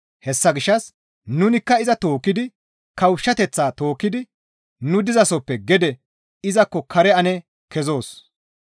Hessa gishshas nunikka izi tookkidi kawushshateththaa tookkidi nu dizasoppe gede izakko kare ane kezoos.